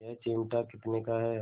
यह चिमटा कितने का है